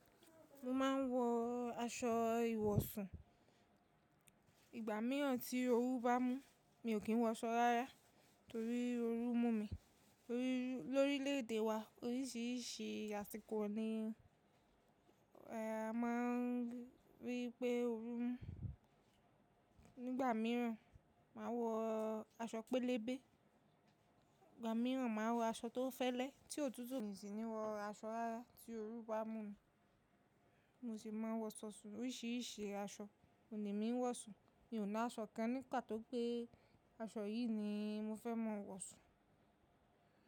Mo máa ń wọ aṣọ ìwọ̀sùn. Ìgbà mìíràn tí oru bá mú, mi ò kí ń wọ aṣọ rárá torí oru mú mi tori Lórílẹ̀ èdè wa oríṣìíríṣìí àsìkò ni a máa rí pé oru mu. Nígbà mìíràn, màá wọ aṣọ pélébé. Ìgbà mìíràn màá wọ aṣọ tó fẹ́lẹ́. Tí òtútù mi sì ní wọ aṣọ rárá tí oru bá mú mi, mo sì máa wọ aṣọ sùn. Oríṣìíríṣìí aṣọ òní mi ń wọ̀ sùn. Mi ò ní aṣọ kan ní pato pé aṣọ yìí ni mo fẹ́ máa wọ̀ sùn.